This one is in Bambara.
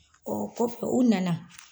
Ɔɔ kɔfɛ u nana